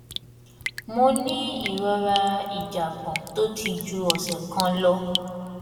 mo ní ìrora ìjàgbọn tó ti ju ọsẹ kan lọ